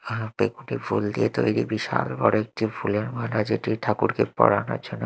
হাতে খুঁটে ফুল দিয়ে তৈরি বিশাল বড়ো একটি ফুলের মালা যেটি ঠাকুরকে পড়ানোর জন্য--